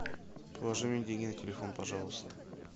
положи мне деньги на телефон пожалуйста